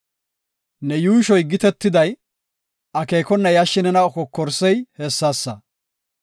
Ne yuushoy gitetiday, akeekona yashshi nena kokorsey hessasa.